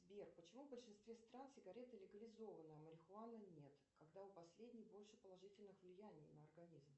сбер почему в большинстве стран сигареты легализованы а марихуана нет когда у последней больше положительных влияний на организм